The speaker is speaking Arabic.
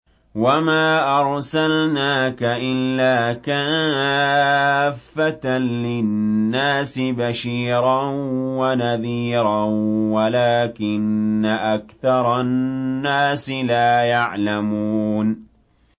وَمَا أَرْسَلْنَاكَ إِلَّا كَافَّةً لِّلنَّاسِ بَشِيرًا وَنَذِيرًا وَلَٰكِنَّ أَكْثَرَ النَّاسِ لَا يَعْلَمُونَ